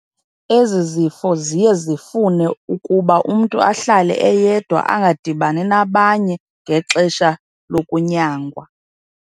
Ezi zifo ziye zifune ukuba umntu ahlale eyedwa angadibani nabanye ngexesha lokunyangwa.